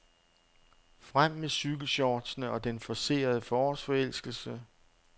Frem med cykelshortsene og den forcerede forårsforelskelse.